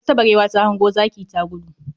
Wata barewa ta hango zaki ta gudu